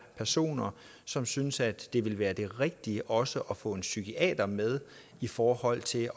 personer som synes at det vil være det rigtige også at få en psykiater med i forhold til